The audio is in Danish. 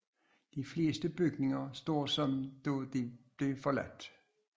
De fleste bygninger står som da de blev forladt